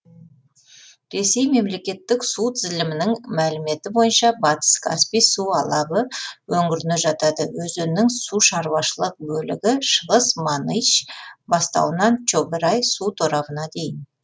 ресей мемлекеттік су тізілімінің мәліметі бойынша батыс каспий су алабы өңіріне жатады өзеннің су шаруашылық бөлігі шығыс маныч бастауынан чограй су торабына дейін